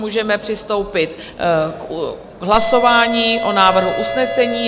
Můžeme přistoupit k hlasování o návrhu usnesení.